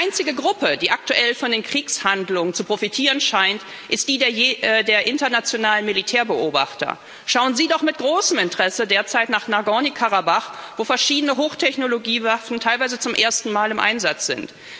Die einzige Gruppe, die aktuell von den Kriegshandlungen zu profitieren scheint, ist die der internationalen Militärbeobachter, schauen sie doch mit großem Interesse derzeit nach Nagorny Karabach, wo verschiedene Hochtechnologiewaffen teilweise zum ersten Mal im Einsatz sind.